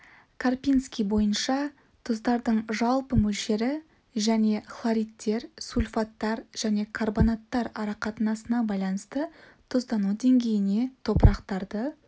карпинский бойынша тұздардың жалпы мөлшері және хлоридтер сульфаттар және карбонаттар ара қатынасына байланысты тұздану деңгейіне топырақтарды